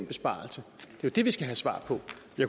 besparelser